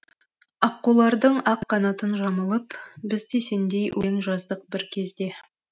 аққулардың ақ қанатын жамылып біз де сендей өлең жаздық бір кезде